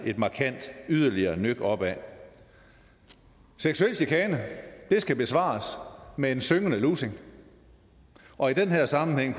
et markant yderligere nøk opad seksuel chikane skal besvares med en syngende lussing og i den her sammenhæng